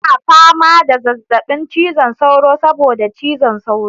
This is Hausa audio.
Tana fama da zazzabin cizon sauro saboda cizon sauro.